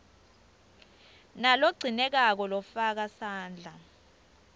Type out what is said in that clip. nalogcinekako lofaka sandla